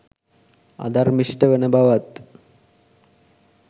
අධර්මිෂ්ට වන බවත්